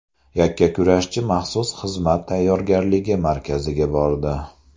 Yakkakurashchi maxsus xizmat tayyorgarligi markaziga bordi.